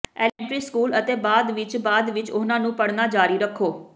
elementary school ਅਤੇ ਬਾਅਦ ਵਿਚ ਬਾਅਦ ਵਿਚ ਉਹਨਾਂ ਨੂੰ ਪੜ੍ਹਨਾ ਜਾਰੀ ਰੱਖੋ